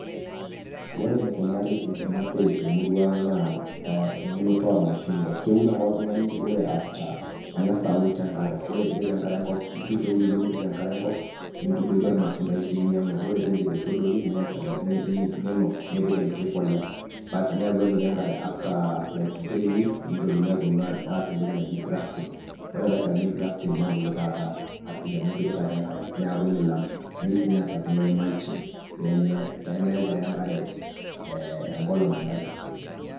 Ore enikunari ena siai temurua ang' ang naa eunoto oolmashung'wa keun ake oltung'ani ore cs[after]cs, eng'as aun tenkare, ore pipik enkare enkop iturr eululu nipik enkare enkop nintadoiki olmatundai linyang'wa ore piindip aitadoiki ninuk nipik enkiti polea, basi ore cs[after]cs cs[like]cs cs[three weeks]cs nitokini aaponu aas entoki naji cs[grafting]cs ore peesakini grafting nebulu taata aasidanu ipikita ake enkare neeku milam, neyeu sii neesakini ake cs[mulching]cs peemeku ake enkare, ee enkolong' enkare.